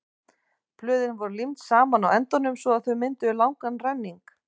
blöðin voru límd saman á endunum svo að þau mynduðu langan renning